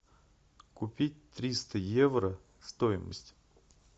купить триста евро стоимость